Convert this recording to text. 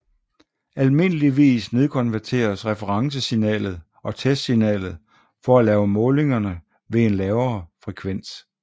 Almindeligvis nedkonverteres referencesignalet og testsignalet for at lave målingerne ved en lavere frekvens